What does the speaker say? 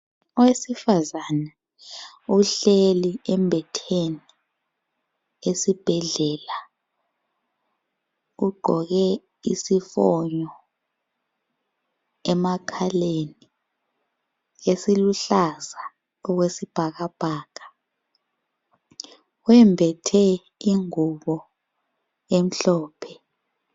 Owesifazane uhleli embetheni esibhedlela. Ugqoke isifonyo emakhaleni esiluhlaza okwesibhakabhaka. Wembethe ingubo emhlophe.